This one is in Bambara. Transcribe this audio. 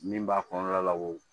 Min b'a kɔnɔna la o